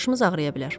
Başımız ağrıya bilər.